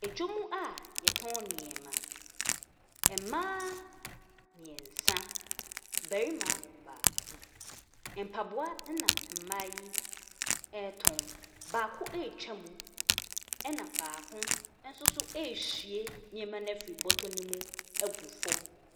Dwa mu a yɛtɔn nneɛma, mmaa mmiɛnsa na barima baako, mpaboa na mmaa yi ɛretɔn, baako ɛretwa mu na baako nso ɛrehwie nneɛma no afiri bɔtɔ ne mu agu fam.